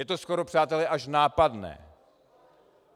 Je to skoro, přátelé, až nápadné.